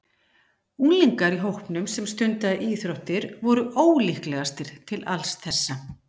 Unglingar úr hópnum sem stundaði íþróttir voru ólíklegastir til alls þessa.